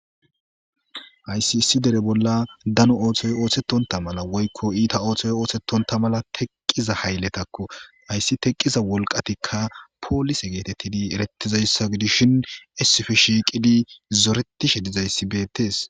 Hayissi issi dere bola danno oththoy oththetonta mala woykko ita oththoy othetonta mella teqqiza hayilletako haysika teqqiza wolqqatika polise geteidi eretishin issippe shiqqidi zorettishe dizaysi bettess.